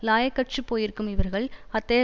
இலாயக்கற்றுப் போயிருக்கும் இவர்கள் அத்தகைய